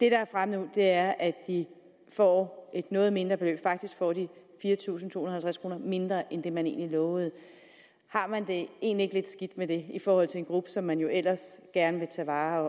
er fremme nu er at de får et noget mindre beløb faktisk får de fire tusind to hundrede og halvtreds kroner mindre end det man egentlig lovede har man det egentlig ikke lidt med det i forhold til en gruppe som man jo ellers gerne vil tage vare